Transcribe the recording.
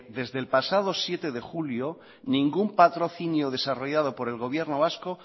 desde el pasado siete de julio ningún patrocinio desarrollado por el gobierno vasco